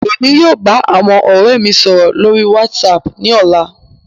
Emi yóò ba awọn ọrẹ mi sọrọ lori WhatsApp ni ọla